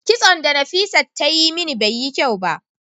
kison da Nafisat ta Yi mini Bai Yi kyau ba.